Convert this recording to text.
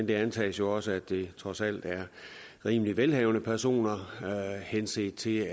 det antages jo også at det trods alt er rimelig velhavende personer henset til